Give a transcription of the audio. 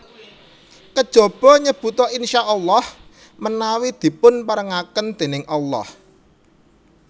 Kejaba nyebuta InsyaaAlah menawi dipun parengaken déning Allah